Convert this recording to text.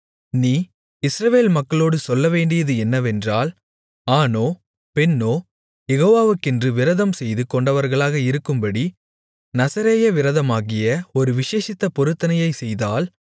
நீ இஸ்ரவேல் மக்களோடு சொல்லவேண்டியது என்னவென்றால் ஆணோ பெண்ணோ யெகோவாக்கென்று விரதம் செய்து கொண்டவர்களாக இருக்கும்படி நசரேய விரதமாகிய ஒரு விசேஷித்த பொருத்தனையை செய்தால்